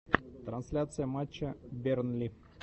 трансляция матча бернли